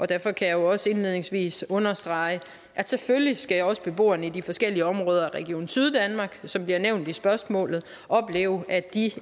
derfor kan jeg også indledningsvis understrege at selvfølgelig skal beboerne i de forskellige områder af region syddanmark som bliver nævnt i spørgsmålet opleve at de